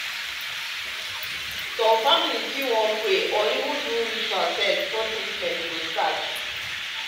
some families fit wan pray or even do ritual sef before treatment go start.